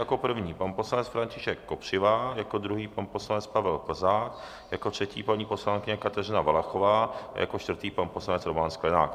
Jako první pan poslanec František Kopřiva, jako druhý pan poslanec Pavel Plzák, jako třetí paní poslankyně Kateřina Valachová, jako čtvrtý pan poslanec Roman Sklenák.